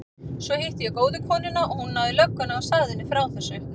Svo hitti ég góðu konuna og hún náði í lögguna og sagði henni frá þessu.